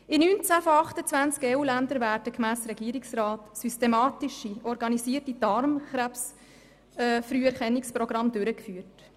In 19 von 28 EU-Ländern werden, gemäss Regierungsrat, systematisch organisierte Darmkrebsfrüherkennungsprogramme durchgeführt.